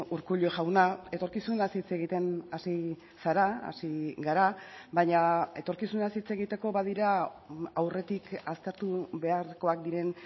urkullu jauna etorkizunaz hitz egiten hasi zara hasi gara baina etorkizunaz hitz egiteko badira aurretik aztertu beharrekoak diren